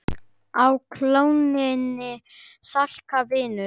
Á klónni slaka, vinur